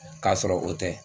K'a sɔrɔ o tɛ